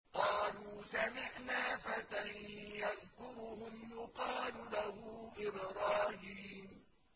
قَالُوا سَمِعْنَا فَتًى يَذْكُرُهُمْ يُقَالُ لَهُ إِبْرَاهِيمُ